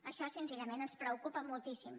això senzillament ens preocupa moltíssim